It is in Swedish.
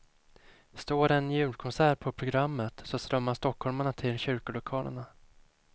Står en julkonsert på programmet, så strömmar stockholmarna till kyrkolokalerna.